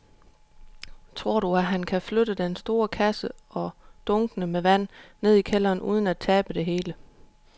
Tror du, at han kan flytte den store kasse og dunkene med vand ned i kælderen uden at tabe det hele?